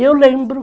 E eu lembro.